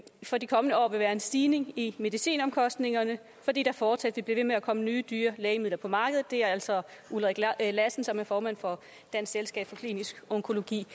for de kommende år vil være en stigning i medicinomkostningerne fordi der fortsat vil blive ved med at komme nye dyre lægemidler på markedet det er altså ulrik lassen som er formand for dansk selskab for klinisk onkologi